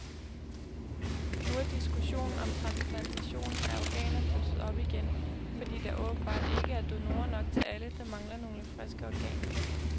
Nu er diskussionen om transplantation af organer blusset op igen, fordi der åbenbart ikke er donorer nok til alle, der mangler nogle friske organer.